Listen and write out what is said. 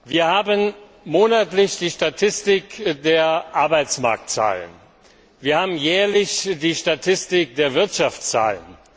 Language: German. Wir haben monatlich die Statistik zu den Arbeitsmarktzahlen, wir haben jährlich die Statistik zu den Wirtschaftszahlen.